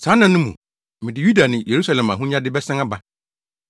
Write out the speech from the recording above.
“Saa nna no mu, mede Yuda ne Yerusalem ahonyade bɛsan aba.